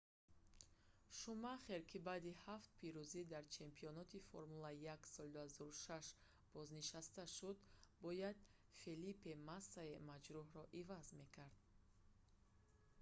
шумахер ки баъди ҳафт пирӯзӣ дар чемпионати формула-1 соли 2006 бознишаста шуд бояд фелипе массаи маҷрӯҳро иваз мекард